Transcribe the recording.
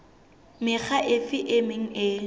mekga efe e meng e